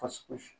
Fasi